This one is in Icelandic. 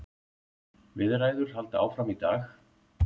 Viðræður halda áfram í dag